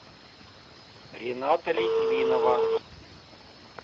рената литвинова